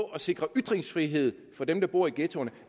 at sikre ytringsfrihed for dem der bor i ghettoerne